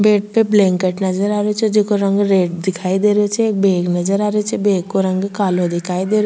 Bed पे blanket नजर आ रेहो छे जेको रंग रेड दिखाई देरो छे एक बेग नजर आ रेहो छे बेग को रंग कालो दिखाई दे रो।